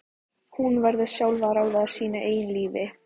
Hún verður sjálf að ráða sínu eigin lífi.